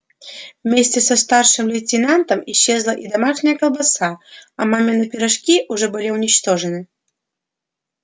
вместе со старшим лейтенантом исчезла и домашняя колбаса а мамины пирожки уже были уничтожены